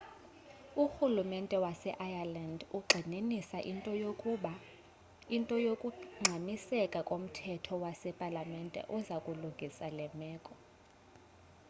urhulumente waseireland ugxininisa into yokungxamiseka komthetho wasepalamente oza kulungisa le meko